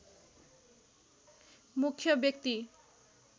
मुख्य व्यक्ति